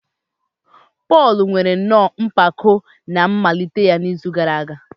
Pọl nwere nnọọ mpako na a malitere ya n'izu gara aga.